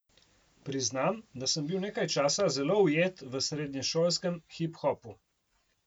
Priznam, da sem bil nekaj časa zelo ujet v srednješolskem hiphopu.